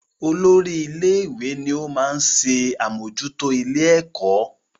Olórí ilé-ìwé ni ó máa ń ṣe àmójútó ilé-ẹ̀kọ́